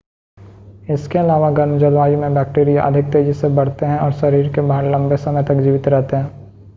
इसके अलावा गर्म जलवायु में बैक्टीरिया अधिक तेज़ी से बढ़ते हैं और शरीर के बाहर लंबे समय तक जीवित रहते हैं